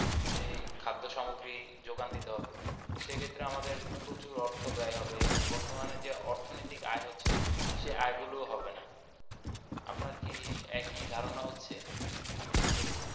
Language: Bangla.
এই খাদ্য সামগ্রী যোগান দিতে হবে সেক্ষেত্রে আমাদের প্রচুর অর্থ ব্যায় হবে এবং বর্তমানে যে অর্থনৈতিক আয় হচ্ছে সেই আয় গুলো ও হবে না আপনার কি একই ধারনা হচ্ছে আমি যেগুলো বলতেছি।